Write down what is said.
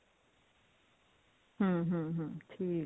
ਹਮ ਹਮ ਹਮ ਠੀਕ ਹੈ